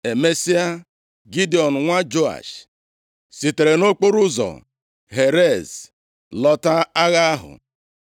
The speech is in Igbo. Emesịa, Gidiọn nwa Joash, sitere nʼokporoụzọ Heres lọta agha ahụ.